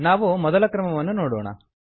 ನಾವು ಮೊದಲ ಕ್ರಮವನ್ನು ನೋಡೋಣ